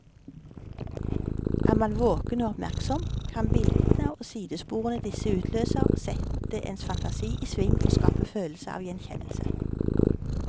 Er man våken og oppmerksom, kan bildene og sidesporene disse utløser, sette ens fantasi i sving og skape følelse av gjenkjennelse.